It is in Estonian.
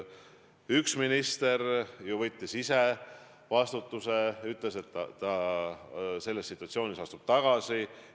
Üks minister ju võttis ise vastutuse, ütles, et ta selles situatsioonis astub tagasi.